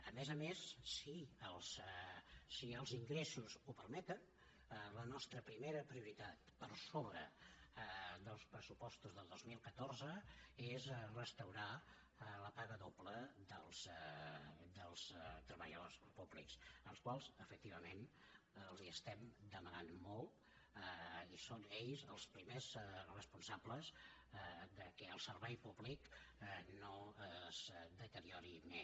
a més a més si els ingressos ho permeten la nostra primera prioritat per sobre dels pressupostos del dos mil catorze és restaurar la paga doble dels treballadors públics als quals efectivament els estem demanant molt i són ells els primers responsables que el servei públic no es deteriori més